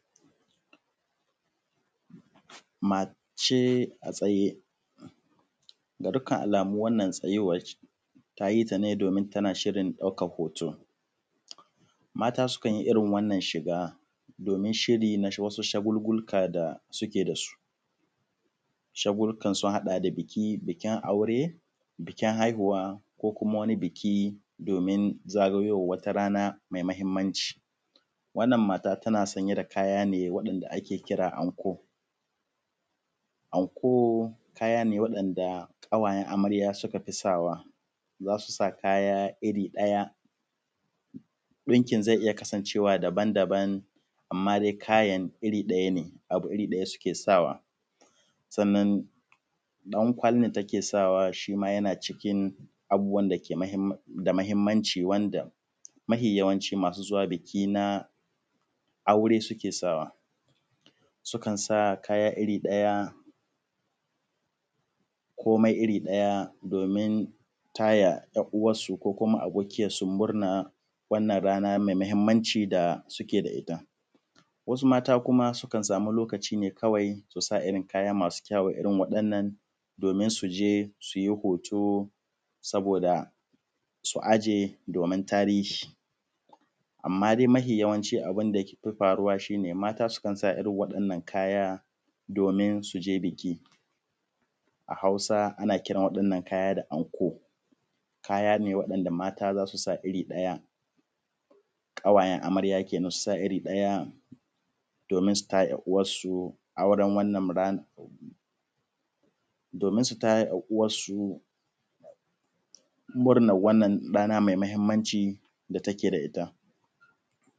Mace a tsaye, ga dukkan alamu wannan tsayuwan tayi ta ne tana shirin ɗaukan hoto. Mata sukan yi irin wannan shiga domin irin wasu shagululuwa da suke da su, shagululukan sun haɗa da bikin aure, bikin haihuwa ko kuma biki domin zagayowar wata rana mai mahimmanci. Wannan mata tana sanye da kaya ne wanda ake kira anko. Anko kaya ne waɗanda kawayen amarya suka fi sawa, zasu sa kaya iri ɗaya, dinkin zai iya kasancewa daban-daban amma dai kayan iri ɗaya ne, abu iri ɗaya suke sawa. Sannan ɗankwali da take saya shima yana cikin abubuwan dake da mahimmanci, wanda yawanci masu zuwa biki na aure suke sawa. Sukan sa kaya iri ɗaya komai iri ɗaya domin taya yar uwarsu ko kuma abokiyar su wannan mai mahimmanci da suke da ita. Wasu mata kuma sukan samu lokaci ne kawai su sa irin kaya masu kyau irin domin su je su yi hoto su ajiye saboda tarihi, amma dai mafi yawancin abin da yafi faruwa shine mata sukan sa irin waɗannan kaya domin su je biki. A Hausa ana kiran waɗannan kayayyakin da anko, kaya ne waɗanda mata zasu sa iri ɗaya, kawayen amarya kenan su sa iri ɗaya domin su taya yar uwarsu murnan wannan rana da suke da ita.